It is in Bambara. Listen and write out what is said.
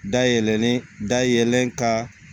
Dayɛlɛlen dayɛlɛ ka